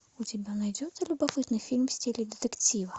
у тебя найдется любопытный фильм в стиле детектива